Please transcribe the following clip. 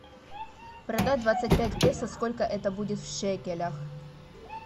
продать двадцать пять песо сколько это будет в шекелях